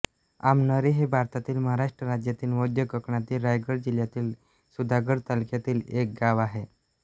आमनोरी हे भारतातील महाराष्ट्र राज्यातील मध्य कोकणातील रायगड जिल्ह्यातील सुधागड तालुक्यातील एक गाव आहे